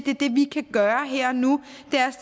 det vi kan gøre her og nu